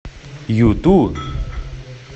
юту